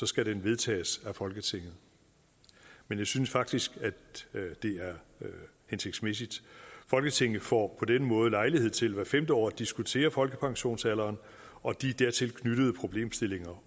skal den vedtages af folketinget men jeg synes faktisk at det er hensigtsmæssigt folketinget får på den måde lejlighed til hvert femte år at diskutere folkepensionsalderen og de dertil knyttede problemstillinger